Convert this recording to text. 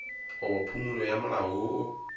goba phumolo ya molao woo